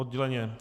Odděleně.